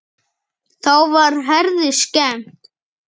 Þá var Herði skemmt.